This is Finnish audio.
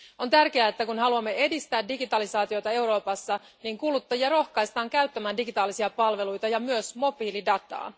On tärkeää, että kun haluamme edistää digitalisaatiota Euroopassa, kuluttajia rohkaistaan käyttämään digitaalisia palveluita ja myös mobiilidataa.